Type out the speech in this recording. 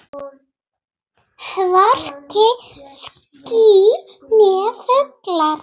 Hvorki ský né fugl.